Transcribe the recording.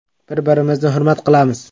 Bir-birimizni hurmat qilamiz.